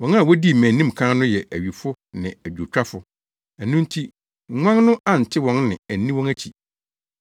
Wɔn a wodii mʼanim kan no yɛ awifo ne adwowtwafo; ɛno nti nguan no ante wɔn nne anni wɔn akyi.